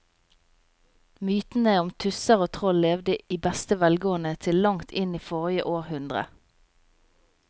Mytene om tusser og troll levde i beste velgående til langt inn i forrige århundre.